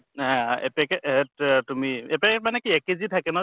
য়া এপেকেট এত তেত তুমি এপেকেট মানে কি এক KG থাকে নহয় জানো